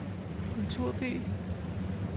kulturby